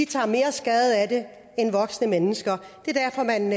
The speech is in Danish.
tager mere skade af det end voksne mennesker det er derfor man